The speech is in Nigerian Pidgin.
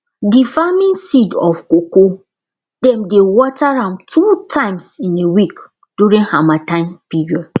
d farming seed of cocoa dem dey water am two times in a week during harmattan period